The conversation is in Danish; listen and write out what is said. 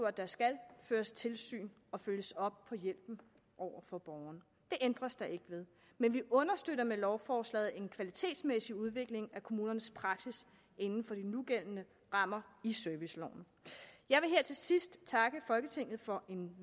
at der skal føres tilsyn og følges op på hjælpen over for borgeren det ændres der ikke ved men vi understøtter med lovforslaget en kvalitetsmæssig udvikling af kommunernes praksis inden for de nugældende rammer i serviceloven jeg vil her til sidst takke folketinget for en